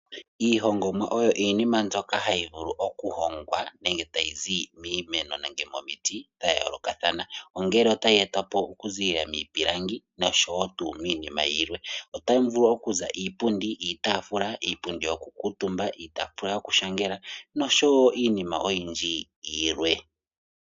Iihongomwa oyo iinima mbyoka hayivulu okuhongwa nenge tayizi miimeno nenge momiti dhayoloka thana, ongele ota yetwapo okuzilila mipilangi noshowo tu minima yimwe, ohamuvulu okuza iipundi, iitafula, iipundi yokukutumbwa iitafula yokushangela nosho wo iinima oyindji yilwe.